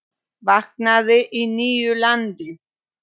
Vaknaði í nýju landi.